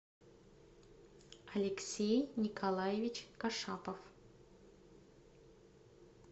алексей николаевич кашапов